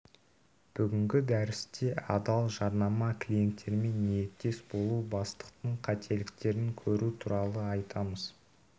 бүгінгі дәрісте адал жарнама клиенттермен ниеттес болу бастықтың қателіктерін көру туралы айтамыз